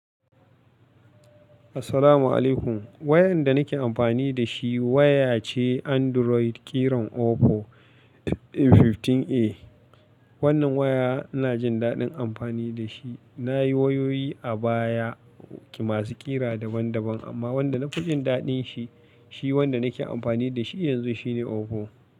Assalamu alaykum. Wayan da nake amfani da shi waya ce Android ƙiran OPPO 15A. Wannan waya ina jin daɗin amfani da shi. Na yi wayoyi a baya masu ƙira daban-daban amma wanda na fi jin daɗin shi, shi wanda nake amfani da shi yanzu shine OPPO.